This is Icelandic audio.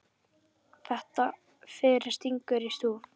Þetta fyrir stingur í stúf.